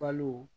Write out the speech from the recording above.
Balo